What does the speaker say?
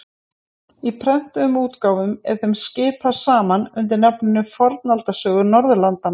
Í prentuðum útgáfum er þeim skipað saman undir nafninu Fornaldarsögur Norðurlanda.